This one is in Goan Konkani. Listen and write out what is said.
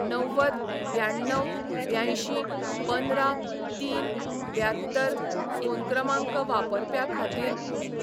णव्वद ब्याण्णव ब्यांयशी पंदरा तीन ब्यात्तर फोन क्रमांक वापरप्या खातीर